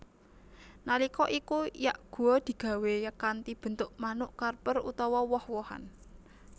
Nalika iku yakgwa digawé kanthi bentuk manuk karper utawa woh wohan